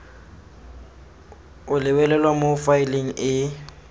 o lebelelwe mo faeleng e